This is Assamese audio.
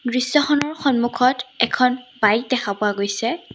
দৃশ্যখনৰ সন্মুখত এখন বাইক দেখা পোৱা গৈছে।